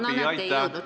No näete, ei jõudnud!